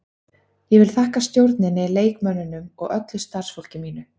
Ég vil þakka stjórninni, leikmönnunum og öllu starfsfólki mínu.